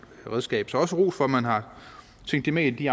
redskab så også ros for at man har tænkt det med ind i